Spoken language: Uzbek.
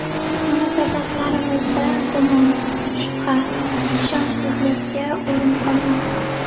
Munosabatlarimizda gumon, shubha, ishonchsizlikka o‘rin qolmadi.